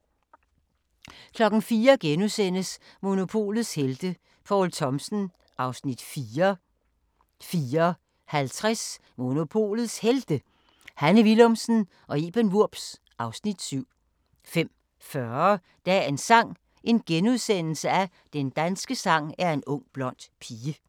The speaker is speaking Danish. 04:00: Monopolets helte - Poul Thomsen (Afs. 4)* 04:50: Monopolets Helte – Hanne Willumsen og Iben Wurbs (Afs. 7) 05:40: Dagens sang: Den danske sang er en ung blond pige *